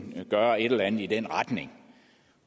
gøre et eller andet i den retning